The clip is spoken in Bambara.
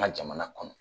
An ka jamana kɔnɔ